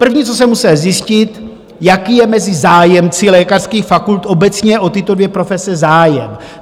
První, co jsem musel zjistit, jaký je mezi zájemci lékařských fakult obecně o tyto dvě profese zájem.